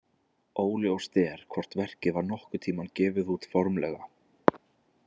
Óljóst er hvort verkið var nokkurn tímann gefið út formlega.